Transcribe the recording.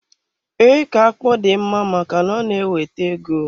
Iko akpụ dị mma maka na ọ na-ewete ego.